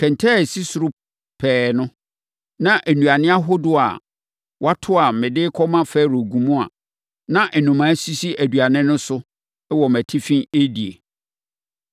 Kɛntɛn a ɛsi ɛsoro pɛɛ no, na nnuane ahodoɔ a wɔato a mede rekɔma Farao gu mu a na nnomaa sisi aduane no so wɔ mʼatifi, redi.”